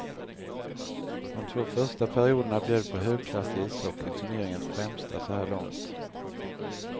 De två första perioderna bjöd på högklassig ishockey, turneringens främsta så här långt.